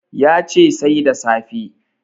Ya ce Sai da safe